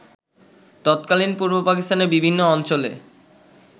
তৎকালীন পূর্ব পাকিস্তানের বিভিন্ন অঞ্চলে